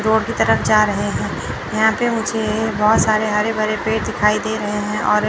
Road की तरफ जा रहे हैं यहां पे मुझे बहोत सारे हरे भरे पेड़ दिखाई दे रहे हैं और।